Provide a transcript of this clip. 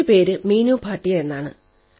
എന്റെ പേര് മീനു ഭാടിയ എന്നാണ്